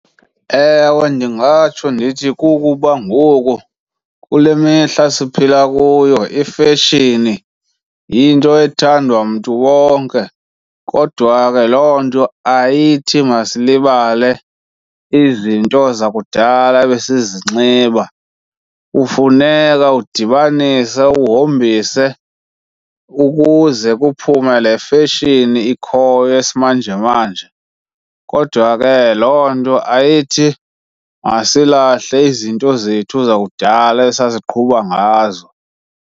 Ewe, ndingatsho ndithi kukuba ngoku kule mihla siphila kuyo ifeshini yinto ethandwa mntu wonke. Kodwa ke loo nto ayithi masilibale izinto zakudala ebesizinxiba. Kufuneka udibanise uhombise ukuze kuphume le feshini ikhoyo yesimanjemanje, kodwa ke loo nto ayithi masilahle izinto zethu zakudala esasiqhuba ngazo.